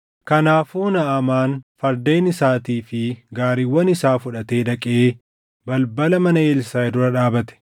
Kanaafuu Naʼamaan fardeen isaatii fi gaariiwwan isaa fudhatee dhaqee balbala mana Elsaaʼi dura dhaabate.